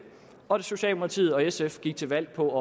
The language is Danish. og socialdemokratiet og sf gik til valg på at